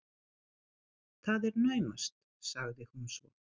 Það er naumast- sagði hún svo.